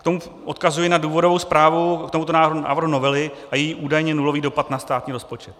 K tomu odkazuji na důvodovou zprávu k tomuto návrhu novely a její údajně nulový dopad na státní rozpočet.